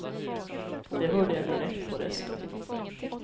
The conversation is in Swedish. Det hörde jag direkt på rösten.